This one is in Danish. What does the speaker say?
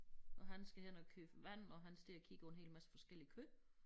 Og han skal hen og købe vand og han står og kigger på en hel masse forskelligt kød